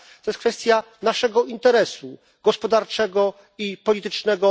To jest kwestia naszego interesu gospodarczego i politycznego.